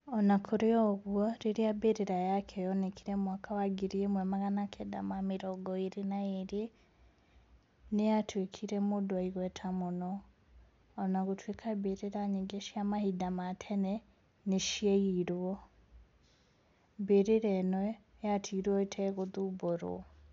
O na kũrĩ ũguo, rĩrĩa mbĩrĩra yake yoonekire mwaka wa 1922, nĩ aatuĩkire mũndũ wĩ igweta mũno. O na gũtuĩka mbĩrĩra nyingĩ cia mahinda ma tene nĩ ciaiirwo, mbĩrĩra ĩno yatigirwo ĩtegũthumbũrwo.